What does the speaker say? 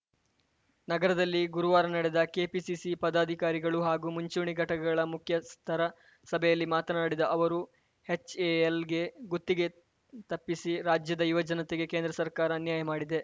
ನಗರದಲ್ಲಿ ಗುರುವಾರ ನಡೆದ ಕೆಪಿಸಿಸಿ ಪದಾಧಿಕಾರಿಗಳು ಹಾಗೂ ಮುಂಚೂಣಿ ಘಟಕಗಳ ಮುಖ್ಯಸ್ಥರ ಸಭೆಯಲ್ಲಿ ಮಾತನಾಡಿದ ಅವರು ಎಚ್‌ಎಎಲ್‌ಗೆ ಗುತ್ತಿಗೆ ತಪ್ಪಿಸಿ ರಾಜ್ಯದ ಯುವ ಜನತೆಗೆ ಕೇಂದ್ರ ಸರ್ಕಾರ ಅನ್ಯಾಯ ಮಾಡಿದೆ